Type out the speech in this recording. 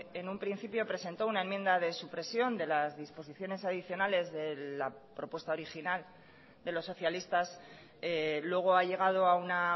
en un principio presentó una enmienda de supresión de las disposiciones adicionales de la propuesta original de los socialistas luego ha llegado a una